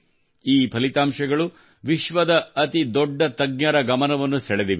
ಈ ಫಲಿತಾಂಶಗಳು ವಿಶ್ವದ ಅತಿದೊಡ್ಡ ತಜ್ಞರ ಗಮನವನ್ನು ಸೆಳೆದಿವೆ